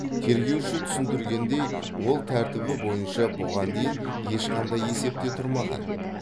тергеуші түсіндіргендей ол тәртібі бойынша бұған дейін ешқандай есепте тұрмаған